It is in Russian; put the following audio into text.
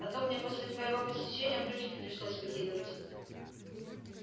а то мне после твоего посещения брючки пришлось выкидывать